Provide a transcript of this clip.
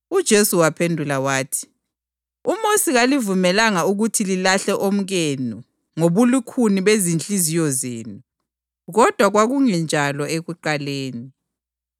UJesu waphendula wathi, “UMosi walivumela ukuthi lilahle omkenu ngobulukhuni bezinhliziyo zenu. Kodwa kwakungenjalo ekuqaleni.